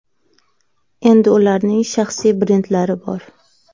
Endi ularning shaxsiy brendlari bor.